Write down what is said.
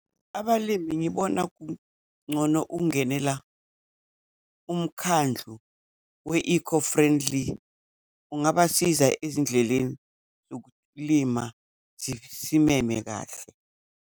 Abalimi ngibona kuncono ukungenela umkhandlu we-eco-friendly ungabasiza ezindleleni yokulima sineme kahle.